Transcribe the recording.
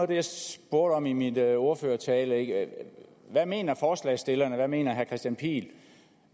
det jeg spurgte om i min ordførertale hvad mener forslagsstillerne hvad mener herre kristian pihl